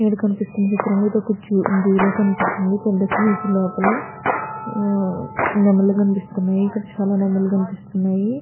ఇక్కడ కనిపిస్తున్న చిత్రం లో ఇదొక జూ జూ ల కనిపిస్తుంది పెద్ద కేజ్ లోపల నెమలి కనిపిస్తుంది ఇక్కడ చాలా నెమల్లు కనిపిస్తున్నాయి.